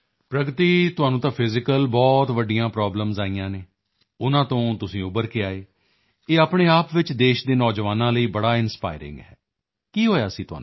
ਪ੍ਰਗਤੀ ਤੁਹਾਨੂੰ ਤਾਂ ਫਿਜ਼ੀਕਲੀ ਬਹੁਤ ਵੱਡੀਆਂ ਪ੍ਰਾਬਲਮ ਆਈਆਂ ਸਨ ਉਨ੍ਹਾਂ ਤੋਂ ਤੁਸੀਂ ਉੱਭਰ ਕੇ ਆਏ ਇਹ ਆਪਣੇ ਆਪ ਵਿੱਚ ਦੇਸ਼ ਦੇ ਨੌਜਵਾਨਾਂ ਲਈ ਬੜਾ ਇੰਸਪਾਇਰਿੰਗ ਹੈ ਕੀ ਹੋਇਆ ਸੀ ਤੁਹਾਨੂੰ